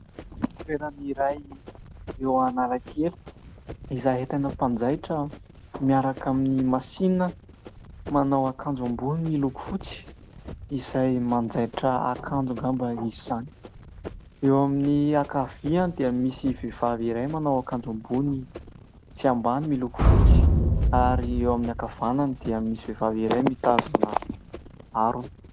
Toerana iray eo Analakely, izay ahitana mpanjaitra miaraka amin'ny masinina, manao akanjo ambony miloko fotsy, izay manjaitra akanjo angamba izy izany. Eo amin'ny ankavia dia misy vehivavy iray manao akanjo ambony sy ambany miloko fotsy, ary eo amin'ny ankavanany dia misy vehivavy iray mitazona harona.